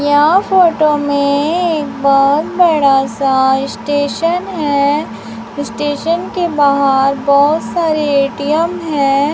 यह फोटो में एक बहुत बड़ा सा स्टेशन है स्टेशन के बाहर बहुत सारे ए_टी_एम हैं।